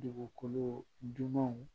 Dugukolo dumanw